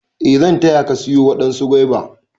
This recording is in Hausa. E zan taya Ka/ ki siyo wadansu guava.